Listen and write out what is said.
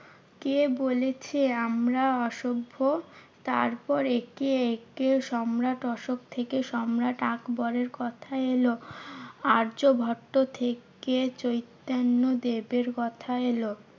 কে বলেছে আমরা অসভ্য? তারপর একে একে সম্রাট অশোক থেকে সম্রাট আকবরের কথা এলো। আর্যভট্ট থেকে চৈতন্য দেবের কথা এলো।